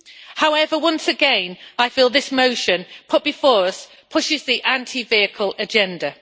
However, once again, I feel this motion put before us pushes the anti vehicle agenda.